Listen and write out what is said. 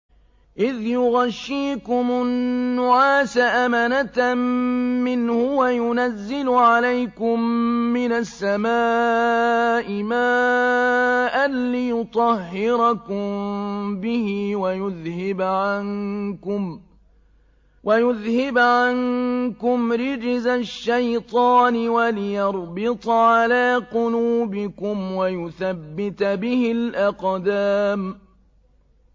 إِذْ يُغَشِّيكُمُ النُّعَاسَ أَمَنَةً مِّنْهُ وَيُنَزِّلُ عَلَيْكُم مِّنَ السَّمَاءِ مَاءً لِّيُطَهِّرَكُم بِهِ وَيُذْهِبَ عَنكُمْ رِجْزَ الشَّيْطَانِ وَلِيَرْبِطَ عَلَىٰ قُلُوبِكُمْ وَيُثَبِّتَ بِهِ الْأَقْدَامَ